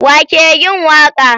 Wa ke yin waka?